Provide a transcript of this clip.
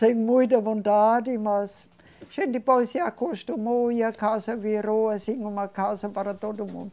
Sem muita vontade, mas a gente depois se acostumou e a casa virou assim uma casa para todo mundo.